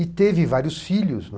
E teve vários filhos.